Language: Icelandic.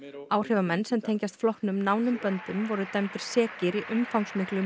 áhrifamenn sem tengjast flokknum nánum böndum voru dæmdir sekir í umfangsmiklu